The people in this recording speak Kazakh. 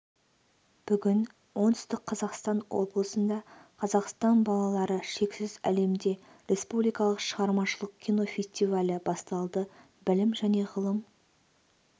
бүгін оңтүстік қазақстан облысында қазақстан балалары шексіз әлемде республикалық шығармашылық кино фестивалі басталды білім және ғылым